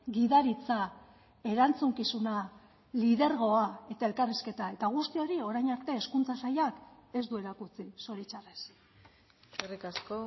gidaritza erantzukizuna lidergoa eta elkarrizketa eta guzti hori orain arte hezkuntza sailak ez du erakutsi zoritxarrez eskerrik asko